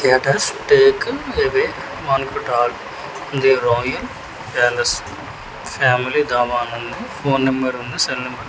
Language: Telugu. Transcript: క్యాటర్స్ take away banquet hall the royal palace family dhaba అని ఉంది ఫోన్ నెంబర్ సెల్ నెంబర్ --